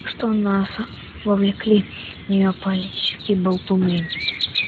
что нас вовлекли в неё политические болтуны